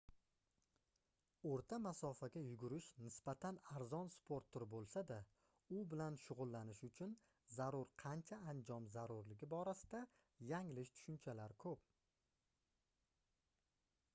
oʻrta masofaga yugurish nisbatan arzon sport turi boʻlsa-da u bilan shugʻullanish uchun zarur qancha anjom zarurligi borasida yanglish tushunchalar koʻp